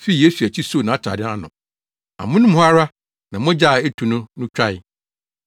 fii Yesu akyi soo nʼatade ano. Amono mu hɔ ara na mogya a etu no no twae.